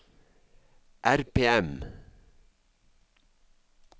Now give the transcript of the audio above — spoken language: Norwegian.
RPM